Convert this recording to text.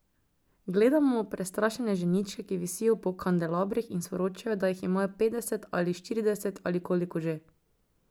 Gledamo prestrašene ženičke, ki visijo po kandelabrih in sporočajo, da jih imajo petdeset, ali štirideset ali koliko že.